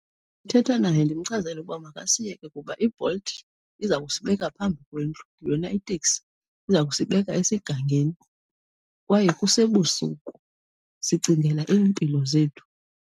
Thetha naye ndimchazele ukuba makasiyeke kuba iBolt iza kusibeka phambi kwendlu yona iteksi iza kusibeka esigangeni, kwaye kusebusuku sicingela iimpilo zethu.